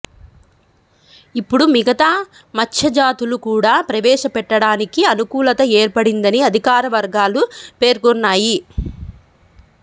ఇప్పుడు మిగతా మత్స్యజాతులు కూడా ప్రవేశపెట్టడానికి అను కూలత ఏర్పడిందని అధికారవర్గాలు పేర్కొన్నాయి